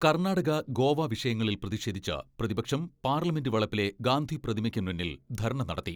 കർണാടക, ഗോവ വിഷയങ്ങളിൽ പ്രതിഷേധിച്ച് പ്രതിപക്ഷം പാർലമെന്റ് വളപ്പിലെ ഗാന്ധിപ്രതിമയ്ക്ക് മുന്നിൽ ധർണ്ണ നടത്തി.